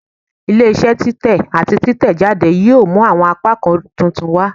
Ile-iṣẹ titẹ ati titẹjade yoo mu awọn apakan titun wa